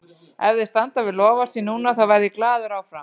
Ef þeir standa við loforð sín núna, þá verð ég glaður hér áfram.